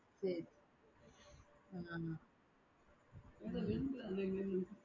சரி